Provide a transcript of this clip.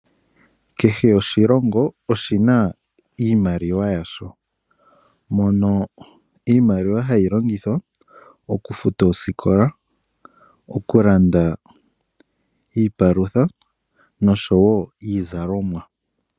Kehe oshilongo oshina iimaliwa yasho, mono iimaliwa hayi longithwa okufuta oosikola, okulanda iipalutha noshowoo iizalomwa.